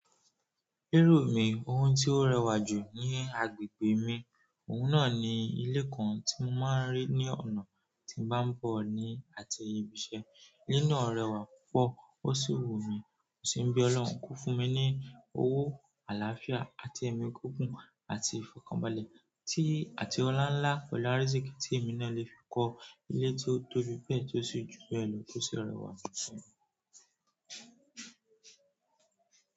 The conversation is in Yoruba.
Ríru mi, ohun tí ó rẹwà jù ní agbègbè mi, òun náà ni ilé kan tí mo máa ń rí ní ọ̀nà tí n bá ń bọ̀ ní àti ibi iṣẹ́. Ilé náà rẹwà púpọ̀ ó sì wù mí. Mo sì ń be Ọlọ́run ko fún mi ní owó àlàáfíà àti ẹ̀mí gígùn àti ìfọ̀kànbalẹ̀ tí àti ọláńlá pẹ̀lú áìrísìkì tí èmi náà lè fi kọ ilé tí ó tóbi bẹ́ẹ̀ tí ó sì jù bẹ́ẹ̀ lọ tó sì rẹwà fún mi.